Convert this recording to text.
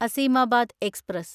Azimabad express